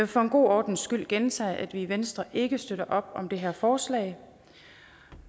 for en god ordens skyld gentage at vi i venstre ikke støtter op om det her forslag